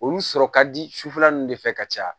Olu sɔrɔ ka di sufɛla ninnu de fɛ ka caya